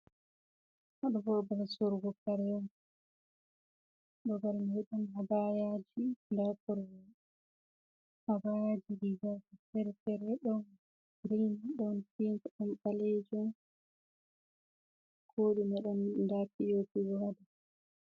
Haɗo bo babal surgo karey on babal man ɗon habayaji nda korew habayaji disina fere fere ɗon grin ɗon ptink ɗon ɓalejon koɗume ɗon nda piopi bo ha ɗow.